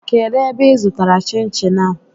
Kedụ ebe ị zụtara chin chin a?